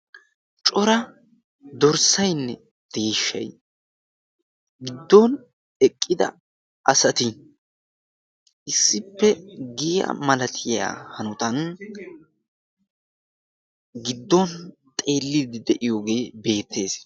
cora dorssaynne deeshshay giddon eqqida asati issippe giyaa malatiyaa hanotan giddon xeelide de'iyooge beettees.